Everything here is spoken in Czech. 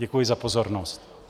Děkuji za pozornost.